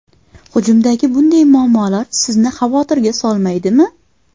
Hujumdagi bunday muammolar sizni xavotirga solmaydimi?